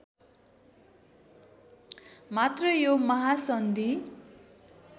मात्र यो महासन्धि